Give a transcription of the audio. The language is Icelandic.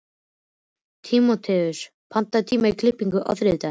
Tímóteus, pantaðu tíma í klippingu á þriðjudaginn.